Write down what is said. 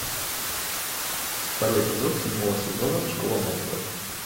второй эпизод седьмого сезона школа монстров